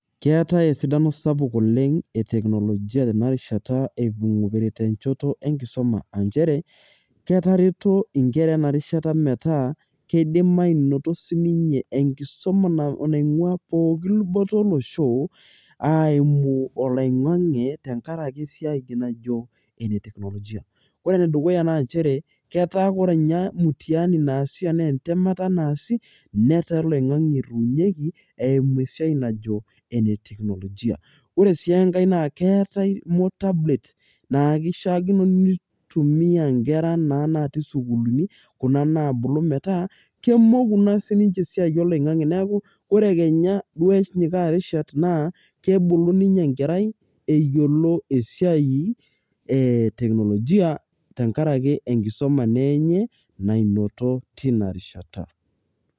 keetae erishata sapuk oleng e teknolijia tenarishata eimu enchot enkisuma, aa nchere, ketareto nkera ena rishata metaa kidim aanoto sii ninye enkisuma naing'uaa pooki dupoto olosho aa eimu oloing'ang'e tenkaraki esiai najo ene teknolojia ore ene dukuya naa nchere ketaa ore mtihani naasi anaa entemata naasi, netaa olingange etumieki eimu sitevnajo ene teknolojia ore, siii enkae naa keetae moter bet naa kisaakino ntumia nkera naa natii sukuulini, kuna naabulu metaa, kemoku naa siii nince esiai oloing'ang'e neeku, ore kenya duo enyikaa irishat naa kebulu ninye enkerai eyiolo, esiai e teknolojia tenkaraki enkisuma naa enye, nainoto teina rishata.